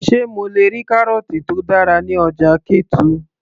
sé mo le rí kárọ̀ọ̀tì tó dára ní ọjà ketu